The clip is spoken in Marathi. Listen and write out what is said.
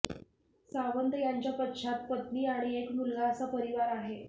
सावंत यांच्या पश्चात पत्नी आणि एक मुलगा असा परिवार आहे